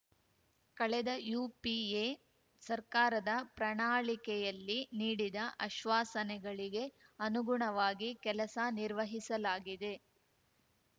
ಕಳೆದ ಯುಪಿಎ ಸರ್ಕಾರದ ಪ್ರಣಾಳಿಕೆಯಲ್ಲಿ ನೀಡಿದ ಅಶ್ವಾಸನೆಗಳಿಗೆ ಅನುಗುಣವಾಗಿ ಕೆಲಸ ನಿರ್ವಹಿಸಲಾಗಿದೆ